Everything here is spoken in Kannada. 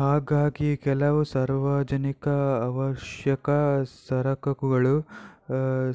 ಹಾಗಾಗಿ ಕೆಲವು ಸಾರ್ವಜನಿಕ ಅವಶ್ಯಕ ಸರಕುಗಳು